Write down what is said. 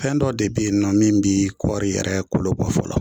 Fɛn dɔ de be yen nɔ min bi kɔri yɛrɛ kolo bɔ fɔlɔ.